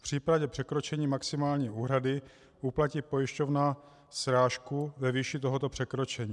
V případě překročení maximální úhrady uplatní pojišťovna srážku ve výši tohoto překročení.